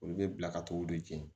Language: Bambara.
Olu bɛ bila ka t'u de jeni